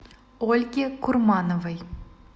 ольги курмановой